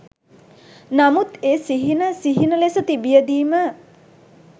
නමුත් ඒ සිහින සිහින ලෙස තිබියදී ම